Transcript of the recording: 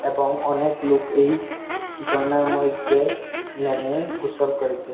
এবং অনেক লুক এই জরনার মইদ্যে নেমে গোসল করিতেছে।